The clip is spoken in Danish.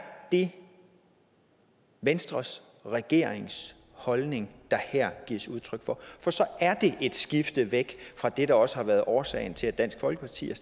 det venstres og regeringens holdning der her gives udtryk for for så er det et skifte fra det der også har været årsagen til at dansk folkeparti har